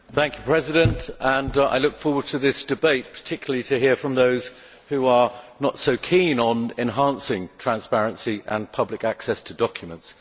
Mr President, I look forward to this debate, and particularly to hearing from those who are not so keen on enhancing transparency and public access to documents.